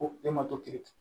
Ko e ma to ki